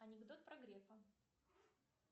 анекдот про грефа